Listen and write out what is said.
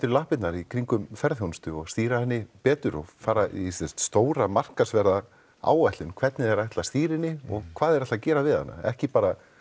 lappirnar í kringum ferðaþjónustu og stýra henni betur og fara í stóra hvernig þeir ætla að stýra henni og hvað þeir ætla gera við hana ekki bara